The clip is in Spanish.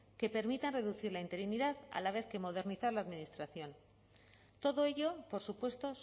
que permitan reducir la interinidad a la vez que modernizar la administración todo ello por supuesto